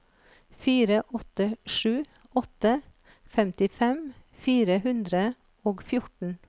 fire åtte sju åtte femtifem fire hundre og fjorten